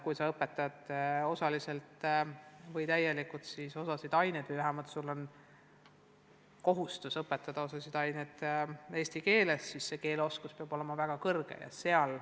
Kui sa õpetad osaliselt või täielikult osasid aineid või vähemalt sul on kohustus õpetada osasid aineid eesti keeles, siis peab keeleoskuse tase olema väga kõrge.